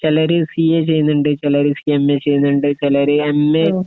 ചെലര് C A ചെയ്യുന്നുണ്ട് ചെലര് എം എ ചെയ്യുന്നുണ്ട് ചെലര് എം എ